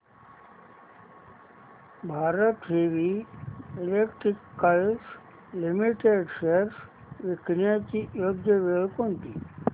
Bharat heavy electricals limited shares विकण्याची योग्य वेळ कोणती